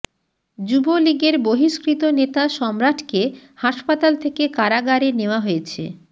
যুবলীগের বহিষ্কৃত নেতা সম্রাটকে হাসপাতাল থেকে কারাগারে নেওয়া হয়েছে